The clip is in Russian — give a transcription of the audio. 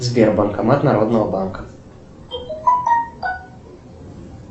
сбер банкомат народного банка